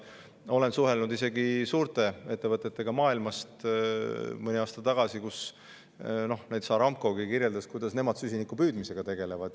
Olen suhelnud isegi suurte ettevõtetega maailmast, mõni aasta tagasi näiteks Aramco kirjeldas, kuidas nemad süsiniku püüdmisega tegelevad.